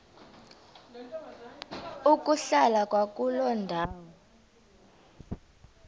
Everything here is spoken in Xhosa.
ukuhlala kwakuloo ndawo